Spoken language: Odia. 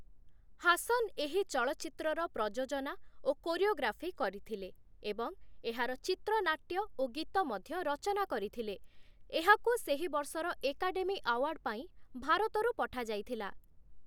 ହାସନ୍‌ ଏହି ଚଳଚ୍ଚିତ୍ରର ପ୍ରଯୋଜନା ଓ କୋରିଓଗ୍ରାଫି କରିଥିଲେ ଏବଂ ଏହାର ଚିତ୍ରନାଟ୍ୟ ଓ ଗୀତ ମଧ୍ୟ ରଚନା କରିଥିଲେ, ଏହାକୁ ସେହିବର୍ଷର ଏକାଡେମି ଆଓ୍ୱାର୍ଡ଼ ପାଇଁ ଭାରତରୁ ପଠାଯାଇଥିଲା ।